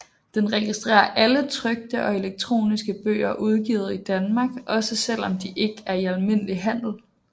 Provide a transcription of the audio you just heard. Den registrerer alle trykte og elektroniske bøger udgivet i Danmark også selv om de ikke er i almindelig handel